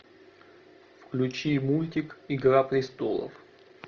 включи мультик игра престолов